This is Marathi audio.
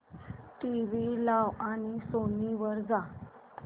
टीव्ही लाव आणि सोनी वर जा